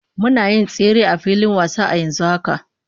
Muna yin tsere a filin wasa a yanzu haka